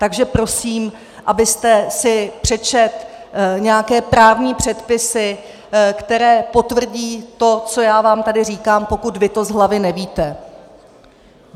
Takže prosím, abyste si přečetl nějaké právní předpisy, které potvrdí to, co já vám tady říkám, pokud vy to z hlavy nevíte.